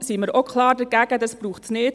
Dies braucht es nicht.